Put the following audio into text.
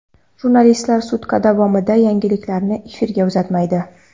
Jurnalistlar sutka davomida yangiliklarni efirga uzatmaydi.